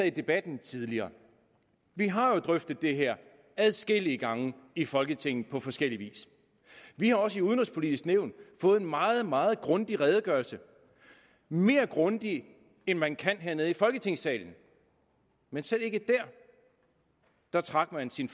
i debatten tidligere vi har jo drøftet det her adskillige gange i folketinget på forskellig vis vi har også i udenrigspolitisk nævn fået en meget meget grundig redegørelse mere grundig end man kan hernede i folketingssalen men selv ikke der trak man sin